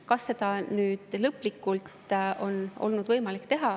Kas seda on olnud võimalik lõplikult teha?